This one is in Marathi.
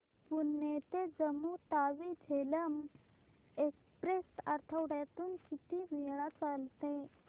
पुणे ते जम्मू तावी झेलम एक्स्प्रेस आठवड्यातून किती वेळा चालते